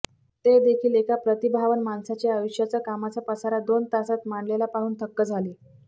तेदेखील एका प्रतिभावान माणसाच्या आयुष्याच्या कामाचा पसारा दोन तासांत मांडलेला पाहून थक्क झाले